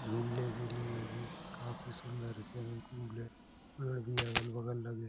झूलने के लिए भी काफी सुन्दर है |पेड़ भी अगल बगल लगे --